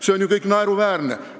See kõik on ju naeruväärne.